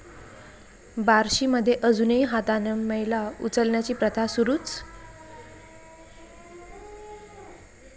बार्शीमध्ये अजूनही हातानं मैला उचलण्याची प्रथा सुरूच